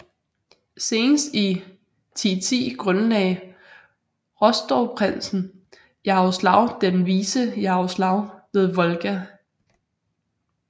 Senest i 1010 grundlagde Rostovprinsen Jaroslav den Vise Jaroslav ved Volga